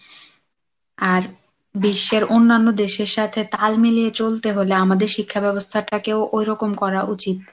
আর বিশ্বের অন্যান্য দেশের সাথে তাল মিলিয়ে চলতে হলে আমাদের শিক্ষা ব্যবস্থাটাকেও ঐরকম করা উচিত।